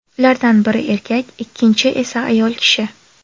Ulardan biri erkak, ikkinchi esa ayol kishi.